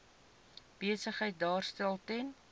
besigheid daarstel ten